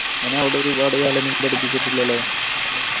അയിന് അവിടെ ഒരുപാട് കാലൊന്നും പഠിപ്പിച്ചിട്ടില്ലല്ലോ